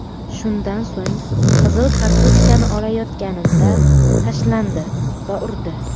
Shundan so‘ng, qizil kartochkani olayotganimda tashlandi va urdi.